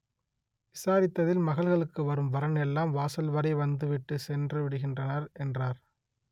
விசாரித்ததில் மகள்களுக்கு வரும் வரன் எல்லாம் வாசல் வரை வந்துவிட்டு சென்று விடுகின்றனர் என்றார்